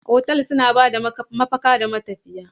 Otal suna ba da mafaka ga matafiya.